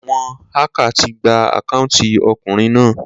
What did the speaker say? Àwon hacker ti gba account okùnrin náà